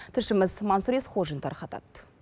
тілшіміз маңсұр есқожин тарқатады